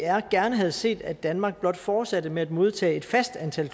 gerne havde set at danmark blot fortsatte med at modtage et fast antal